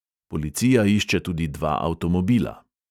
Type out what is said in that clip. Policija išče tudi dva avtomobila.